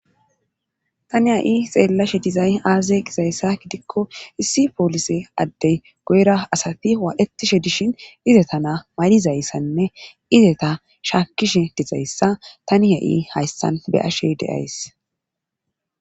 tani ha7i xeellashe dizay aaze qizayssa gidikko issi poolise addey goyra asati waa7etishe dishin izetana mayizayssanne izeta shaakkishe dizayssa tani ha7i hayssan beyashe deays